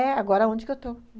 É, agora onde que eu estou